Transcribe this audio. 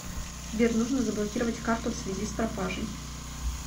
сбер нужно заблокировать карту в связи с пропажей